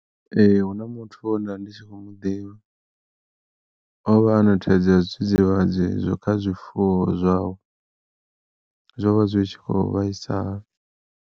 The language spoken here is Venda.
Ee hu na muthu wenda ndi tshi khou muḓivha, ovha a na thaidzo ya zwidzidzivhadzi kha zwifuwo zwawe zwo vha zwi tshi kho vhaisa.